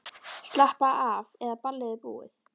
Slappaðu af, eða ballið er búið.